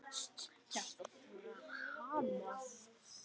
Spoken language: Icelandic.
Hjartað fór að hamast.